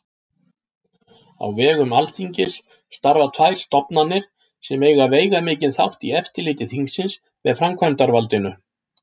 Á vegum Alþingis starfa tvær stofnanir sem eiga veigamikinn þátt í eftirliti þingsins með framkvæmdarvaldinu.